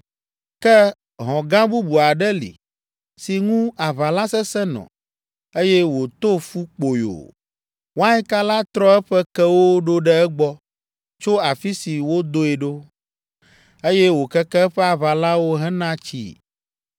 “ ‘Ke hɔ̃ gã bubu aɖe li, si ŋu aʋala sesẽ nɔ, eye wòto fu kpoyo. Wainka la trɔ eƒe kewo ɖo ɖe egbɔ tso afi si wodoe ɖo, eye wòkeke eƒe aʋalawo hena tsii.